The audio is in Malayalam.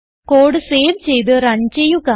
കോഡ് സേവ് ചെയ്ത് റൺ ചെയ്യുക